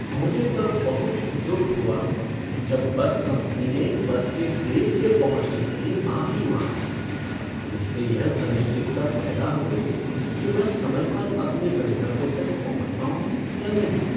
मुझे तब बहुत दुख हुआ जब बस कंपनी ने बस के देर से पहुँचने के लिए माफी मांगी, जिससे यह अनिश्चितता पैदा हो गई कि मैं समय पर अपने गंतव्य तक पहुंच पाऊँगी या नहीं।